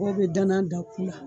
Mɔɔ bɛ danan dan ku la